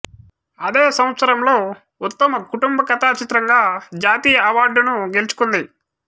అదే సంవత్సరంలో ఉత్తమ కుటుంబ కథా చిత్రంగా జాతీయ అవార్డును గెలుచుకుంది